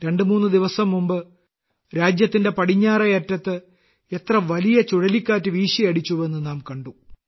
രണ്ട് മൂന്ന് ദിവസം മുമ്പ് രാജ്യത്തിന്റെ പടിഞ്ഞാറേ അറ്റത്ത് എത്ര വലിയ ചുഴലിക്കാറ്റ് വീശിയടിച്ചുവെന്ന് നാം കണ്ടു